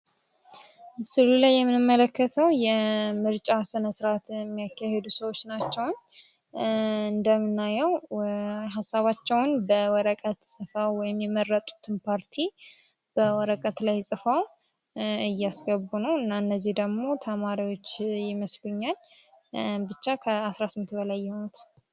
ምስሉ ላይ የምመለከተው የምርጫ ስነ ስርዓት የሚያከሂዱ ሰዎች ናቸዉ። እንድምናየው ሀሳባቸውን በወረቀት ጽፈው የሚመረጡትን ፓርቲ በወረቀት ላይ ጽፈው እያስገቡ እና እነዚህ ደግሞ ተማሪዎች የምስሉኛል። ብቻ ክ18 በላይ የሆኑት